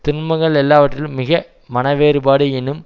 துன்பங்கள் எல்லாவற்றிலும் மிக மனவேறுபாடு எனும்